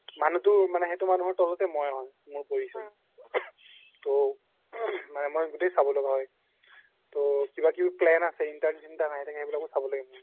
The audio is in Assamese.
মানুহ তো মানে সেইতো মানুহ তোৰ তলতে মই হয় মোৰ তো মই গুতেই চাব লাগা হয় তো কিবা কিবি plan আছে intern hiring এইবোৰও চাব লগে মই